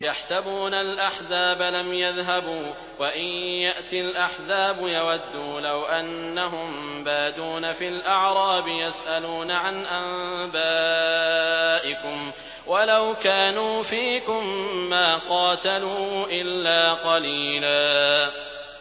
يَحْسَبُونَ الْأَحْزَابَ لَمْ يَذْهَبُوا ۖ وَإِن يَأْتِ الْأَحْزَابُ يَوَدُّوا لَوْ أَنَّهُم بَادُونَ فِي الْأَعْرَابِ يَسْأَلُونَ عَنْ أَنبَائِكُمْ ۖ وَلَوْ كَانُوا فِيكُم مَّا قَاتَلُوا إِلَّا قَلِيلًا